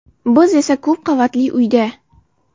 Biz esa ko‘p qavatli uyda.